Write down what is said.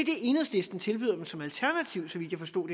enhedslisten tilbyder dem som alternativ så vidt jeg forstod